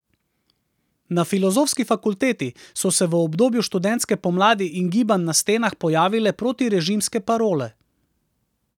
Na filozofski fakulteti so se v obdobju študentske pomladi in gibanj na stenah pojavile protirežimske parole.